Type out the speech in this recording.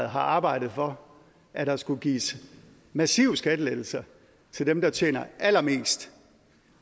har arbejdet for at der skulle gives massive skattelettelser til dem der tjener allermest